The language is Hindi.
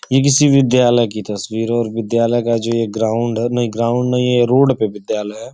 यह किसी विद्यालय की तस्वीर है और विद्यालयों का जो यह ग्राउंड है नहीं ग्राउंड नहीं है यह रोड पे विद्यालय है।